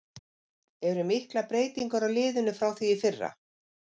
Eru miklar breytingar á liðinu frá því í fyrra?